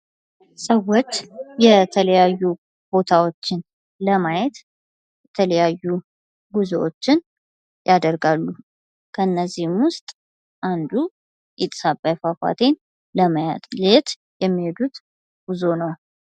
ሰዎች የተለያዩ ቦታዎችን ለማየት የተለያዩ ጉዞዎችን ያደርጋሉ ከነዚህም ውስጥ አንዱ ጢስ አባይ ፏፏቴ ለማየት የሚሄዱት ጉዞ።